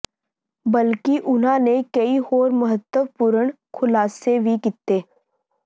ਬਲਕਿ ਉਨ੍ਹਾਂ ਨੇ ਕਈ ਹੋਰ ਮਹੱਤਵਪੂਰਣ ਖੁਲਾਸੇ ਵੀ ਕੀਤੇ